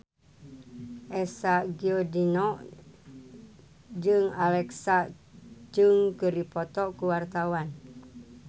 Eza Gionino jeung Alexa Chung keur dipoto ku wartawan